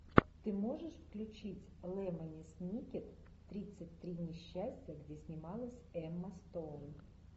ты можешь включить лемони сникет тридцать три несчастья где снималась эмма стоун